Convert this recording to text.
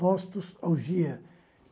Nostos, augia.